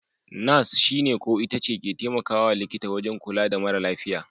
Nas (Nurser) shi/ita ne/ce ke temakawa likita wajan kula da mara lafiya.